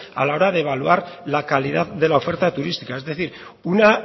a la hora de evaluar la calidad de la oferta turística es decir una